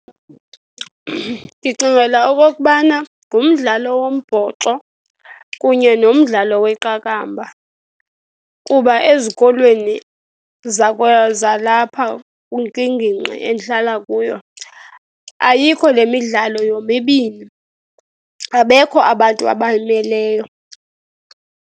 Ndicingela okokubana ngumdlalo wombhoxo kunye nomdlalo weqakamba kuba ezikolweni zalapha kwingingqi endihlala kuyo ayikho lemidlalo yomibini. Abekho abantu abayimeleyo.